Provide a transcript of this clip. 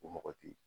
O mɔgɔ tɛ ye